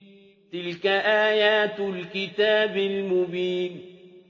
تِلْكَ آيَاتُ الْكِتَابِ الْمُبِينِ